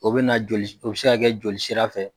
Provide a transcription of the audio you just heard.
O bɛ na joli s o bɛ se ka kɛ joli sira fɛ.